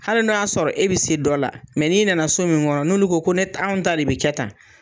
Hali n'o y'a sɔrɔ e bi se dɔ la mɛ n'i nana so min kɔnɔ n'olu ko ne ta anw ta de be kɛ tan